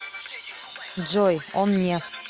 джой он не